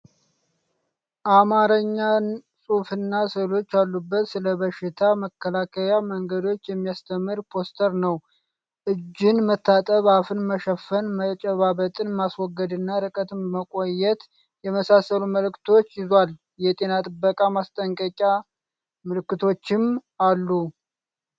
አማርኛ ጽሑፍና ስዕሎች ያሉበት፣ ስለበሽታ መከላከያ መንገዶች የሚያስተምር ፖስተር ነው። እጅን መታጠብ፣ አፍን መሸፈን፣ መጨባበጥን ማስወገድና ርቀት መቆየት የመሳሰሉ መልዕክቶችን ይዟል። የጤና ጥበቃ ማስጠንቀቂያ ምልክቶችም አሉ።